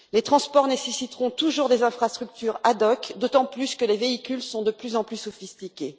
Les transports nécessiteront toujours des infrastructures ad hoc, d'autant plus que les véhicules sont de plus en plus sophistiqués.